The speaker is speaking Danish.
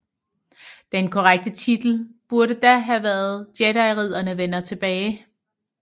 Den korrekte titel burde da have været Jediridderne vender tilbage